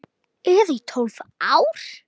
Eða í tólf ár?